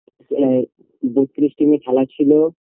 এ team -এ খেলা ছিল